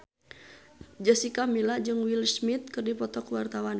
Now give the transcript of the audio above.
Jessica Milla jeung Will Smith keur dipoto ku wartawan